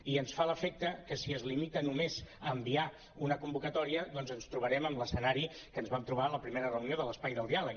i ens fa l’efecte que si es limita només a enviar una convocatòria doncs ens trobarem amb l’escenari que ens vam trobar a la primera reunió de l’espai del diàleg